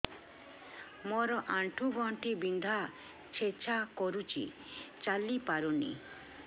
ମୋର ଆଣ୍ଠୁ ଗଣ୍ଠି ବିନ୍ଧା ଛେଚା କରୁଛି ଚାଲି ପାରୁନି